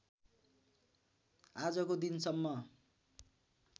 आजको दिनसम्म